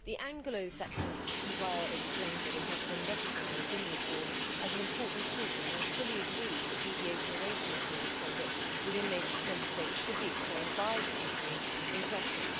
The Anglo Saxon comply or explain' model has been recognised in the report as an important tool and I fully agree that deviation away from the code of conduct within the Member States should be explained by the company in question.